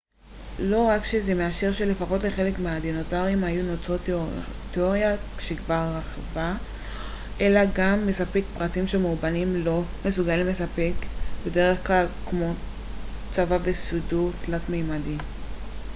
לא רק שזה מאשר שלפחות לחלק מהדינוזאורים היו נוצות תיאוריה שכבר רווחת אלא גם מספק פרטים שמאובנים לר מסוגלים לספק בדרך כלל כמו צבע וסידור תלת-מימדי